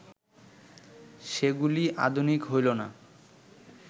সেগুলি আধুনিক হইল না